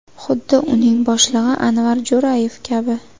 Xuddi uning boshlig‘i Anvar Jo‘rayev kabi.